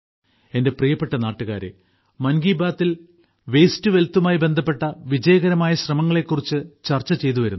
എന്റെ പ്രിയപ്പെട്ട നാട്ടുകാരേ മൻകിബാത്തിൽ വാസ്റ്റെ ടോ വെൽത്ത് മായി ബന്ധപ്പെട്ട വിജയകരമായ ശ്രമങ്ങളെക്കുറിച്ച് ചർച്ച ചെയ്തുവരുന്നു